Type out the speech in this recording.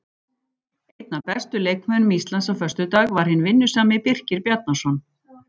Einn af bestu leikmönnum Íslands á föstudag var hinn vinnusami Birkir Bjarnason.